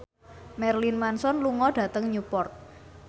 Marilyn Manson lunga dhateng Newport